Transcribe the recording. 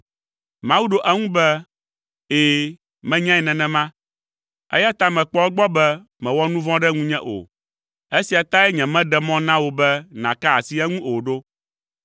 Mawu ɖo eŋu be, “Ɛ̃, menyae nenema, eya ta mekpɔ egbɔ be mèwɔ nu vɔ̃ ɖe ŋunye o. Esia tae nyemeɖe mɔ na wò be nàka asi eŋu o ɖo.